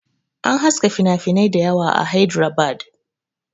An haska finafinai dayawa a Hydrabad